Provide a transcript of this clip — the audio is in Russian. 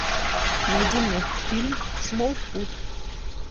найди мне фильм смолфут